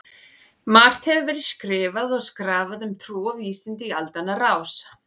Margt hefur verið skrifað og skrafað um trú og vísindi í aldanna rás.